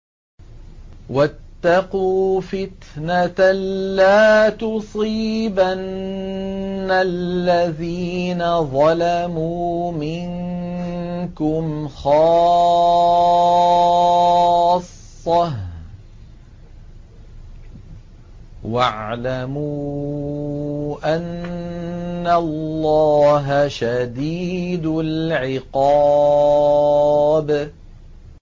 وَاتَّقُوا فِتْنَةً لَّا تُصِيبَنَّ الَّذِينَ ظَلَمُوا مِنكُمْ خَاصَّةً ۖ وَاعْلَمُوا أَنَّ اللَّهَ شَدِيدُ الْعِقَابِ